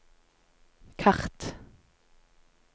kart